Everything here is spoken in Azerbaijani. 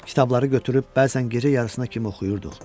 Kitabları götürüb bəzən gecə yarısına kimi oxuyurduq.